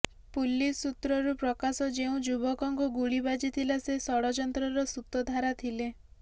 police ସୂତ୍ରରୁ ପ୍ରକାଶ ଯେଉଁ ଯୁବକଙ୍କୁ ଗୁଳି ବାଜିଥିଲା ସେ ଷଡଯନ୍ତ୍ରର ସୂତଧାରା ଥିଲେ